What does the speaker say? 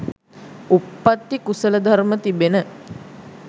උත්පත්ති කුසල ධර්ම තිබෙන